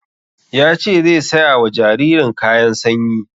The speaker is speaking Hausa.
Yace zai saya wa jaririn kayan sanyi